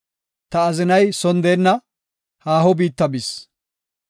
Ta azinay son deenna; haaho biitta bis.